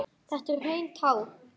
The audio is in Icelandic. Þetta eru hrein tár.